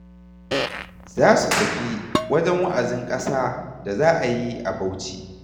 Za su tafi wajen wa'azin ƙasa da za a yi a Bauchi.